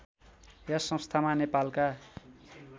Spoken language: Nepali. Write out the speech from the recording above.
यस संस्थामा नेपालका